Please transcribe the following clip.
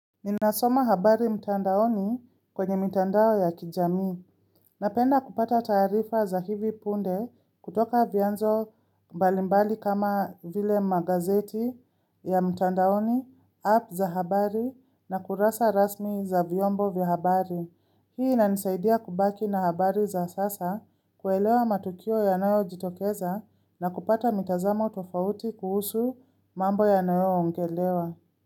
Ninasoma habari mtandaoni kwenye mitandao ya kijamii. Napenda kupata taarifa za hivi punde kutoka vyanzo mbalimbali kama vile magazeti ya mtandaoni, app za habari na kurasa rasmi za vyombo vya habari. Hii inanisaidia kubaki na habari za sasa kuelewa matukio yanayojitokeza na kupata mitazamo tofauti kuhusu mambo yanayo ongelewa.